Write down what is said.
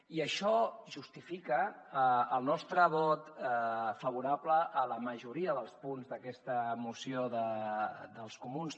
i això justifica el nostre vot favorable a la majoria dels punts d’aquesta moció dels comuns